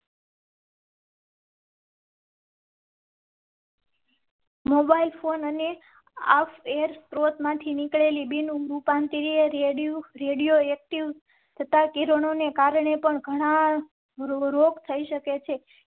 Mobile phone અને અફેર સ્ત્રોત માંથી નીકળેલી બિન ઉભું પાંતી રેડિયો રેડિયો એક્ટિવ તથા કિરણો ને કારણે પણ રોગ થઈ શકે છે.